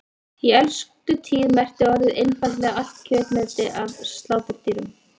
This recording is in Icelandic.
Í elstu tíð merkti orðið einfaldlega allt kjötmeti af sláturdýrum.